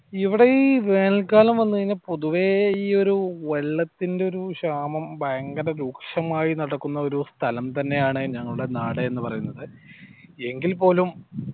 ഇവിടെ ഈ വേനൽ കാലം വന്നു കഴിഞ്ഞാൽ പൊതുവേ ഈ ഒരു വെള്ളത്തിന്റെ ക്ഷാമം ഭയങ്കര രൂക്ഷമായി നടക്കുന്ന ഒരു സ്ഥലം തന്നെയാണ് ഞങ്ങൾടെ നാട് എന്ന് പറയുന്നത് എങ്കിൽ പോലും